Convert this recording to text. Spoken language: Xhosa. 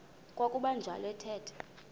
kwakuba njalo athetha